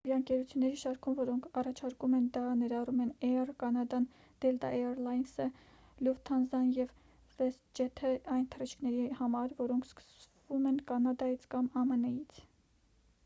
ավիաընկերությունների շարքում որոնք առաջարկում են դա ներառում են էյր կանադան դելտա էյր լայնսը լյուֆթանզան ու վեսթջեթը այն թռիչքների համար որոնք սկսվում են կանադայից կամ ամն-ից